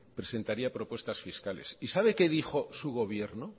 presentaría propuestas fiscales y sabe qué dijo su gobierno